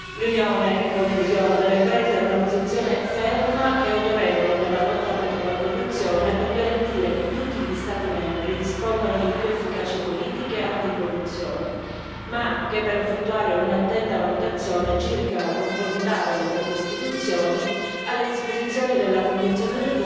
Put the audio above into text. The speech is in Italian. L'Unione, in conclusione, deve prendere una posizione ferma e autorevole nella lotta contro la corruzione per garantire che tutti gli Stati membri dispongano di più efficaci politiche anticorruzione, ma anche per effettuare un'attenta valutazione circa la conformità delle proprie istituzioni alle disposizioni della Convenzione